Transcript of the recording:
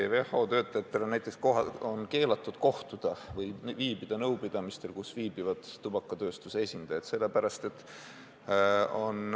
WHO töötajatel on näiteks keelatud viibida nõupidamistel, kus osalevad tubakatööstuse esindajad, ja keelatud nendega ka muul viisil kohtuda.